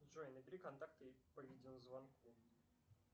джой набери контакты по видеозвонку